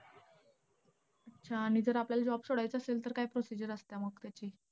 अच्छा आणि जर आपल्याला job सोडायचा असेल, तर काय procedure असतीया मग त्याची?